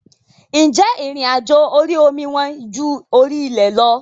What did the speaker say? Ǹjẹ́ ìrìn àjò orí omi wọ́n ju orí ilẹ̀ lọ?